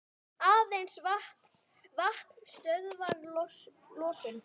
Aðeins vatn stöðvar losun.